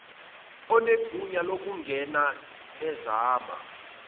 onegunya lokungena ezama